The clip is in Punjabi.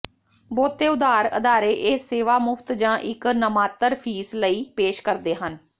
ਬਹੁਤੇ ਉਧਾਰ ਅਦਾਰੇ ਇਹ ਸੇਵਾ ਮੁਫ਼ਤ ਜ ਇੱਕ ਨਾਮਾਤਰ ਫੀਸ ਲਈ ਪੇਸ਼ ਕਰਦੇ ਹਨ